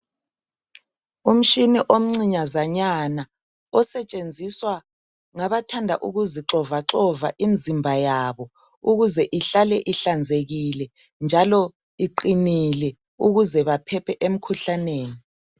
Umtshini omncinyazanyana osetshenziswa ngabathanda ukuzixovaxova imzimba yabo ukuze ihlale ihlanzekile njalo iqinile ukuze baphephe emkhuhlaneni.